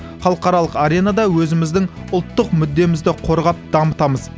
халықаралық аренада өзіміздің ұлттық мүддемізді қорғап дамытамыз